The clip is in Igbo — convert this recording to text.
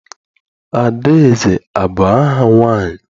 Adaeze abụ aha nwaanyị?